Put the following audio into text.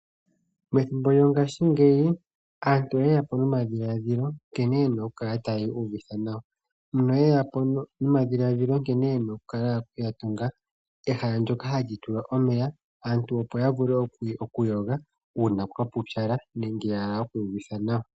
Methimbo lyo ngashingeyi aantu oyeyapo nomadhiladhilo nkene yena okukala otayi uuvitha nawa no yeyapo nomadhiladhilo nkene yena okukala yatunga ehala ndoka hali kala lyatulwa omeya aantu opo ya vule okugoya uuna kwapupyala nenge okwiiidha nawa